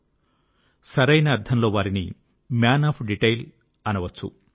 వారు సరైన అర్థంలో వారిని మ్యాన్ ఆఫ్ డీటైల్ అనవచ్చు